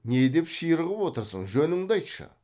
не деп ширығып отырсың жөніңді айтшы